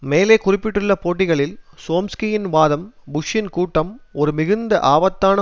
மேலே குறிப்பிட்டுள்ள பேட்டிகளில் சோம்ஸ்கியின் வாதம் புஷ்ஷின் கூட்டம் ஒரு மிகுந்த ஆபத்தான